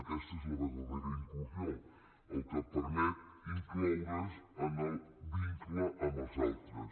aquesta és la vertadera inclusió el que permet incloure’s en el vincle amb els altres